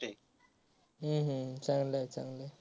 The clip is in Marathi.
हम्म हम्म चांगलय चांगलय.